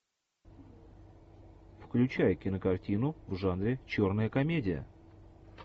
включай кинокартину в жанре черная комедия